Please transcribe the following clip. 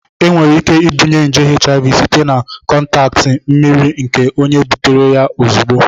Enwere ike ibunye nje HIV site na kọntaktị mmiri nke onye butere ya ozugbo.